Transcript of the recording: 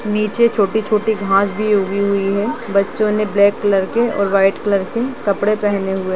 और नीचे छोटी-छोटी घाँस भी उगी हुई है बच्चों ने ब्लैक कलर के और वाइट कलर के कपड़े पहने हुए हैं।